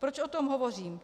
Proč o tom hovořím?